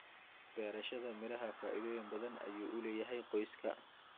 Beerashada miraha faa'iidooyin badan ayay u leedahay qoyska.